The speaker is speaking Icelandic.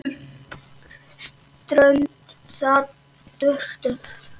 Strunsa burtu.